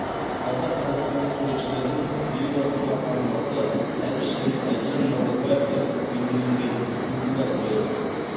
залда қазақстандық суретшілердің елбасының ата анасы әбіш және әлжан назарбаевтар бейнеленген туындылары қойылған